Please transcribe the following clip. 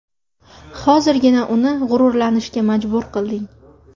Hozirgina uni g‘ururlanishga majbur qilding”.